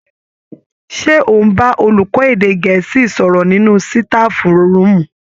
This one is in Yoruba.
Ṣé ò ń bá olùkọ́ èdè Gẹ̀ẹ́sì sọ̀rọ̀ nínú sitafu rúùmù